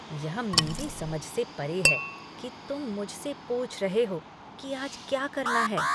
यह मेरी समझ से परे है कि तुम मुझसे पूछ रहे हो कि आज क्या करना है।